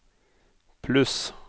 pluss